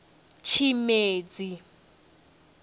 tshimedzi